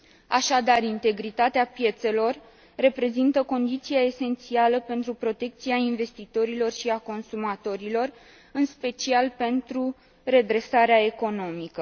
Așadar, integritatea piețelor reprezintă condiția esențială pentru protecția investitorilor și a consumatorilor, în special pentru redresarea economică.